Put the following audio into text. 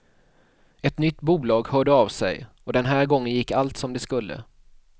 Ett nytt bolag hörde av sig, och den här gången gick allt som det skulle.